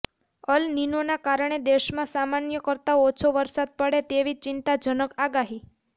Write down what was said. અલ નીનોના કારણે દેશમાં સામાન્ય કરતા ઓછો વરસાદ પડે તેવી ચિંતાજનક આગાહી